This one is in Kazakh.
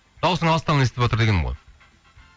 дауысың алыстан естіліватыр дегенім ғой